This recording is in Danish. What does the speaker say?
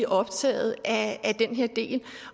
optaget af den her del